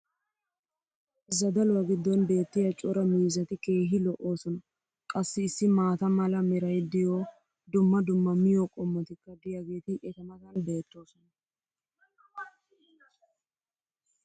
zaddaluwa giddon beetiya cora miizzati keehi lo'oosona. qassi issi maata mala meray diyo dumma dumma miyo qommotikka diyaageeti eta matan beetoosona